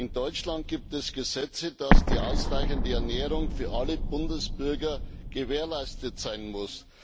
In Deutschland gibt es Gesetze, wonach die ausreichende Ernährung für alle Bundesbürger gewährleistet sein muss.